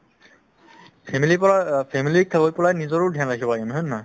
family ৰ পৰা অ family ক থৈ পেলাই নিজৰো dhyan ৰাখিব লাগে হয়নে নহয়